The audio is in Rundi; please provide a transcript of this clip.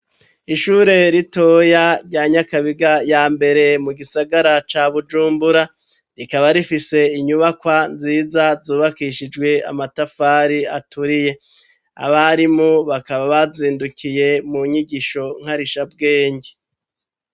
Ishure ritoya rya Nyakabiga ya mbere, mu gisagara ca Bujumbura, rikaba rifise inyubakwa nziza zubakishijwe amatafari aturiye. Abarimu bakaba bazindukiye mu nyigisho nkarishabwenge.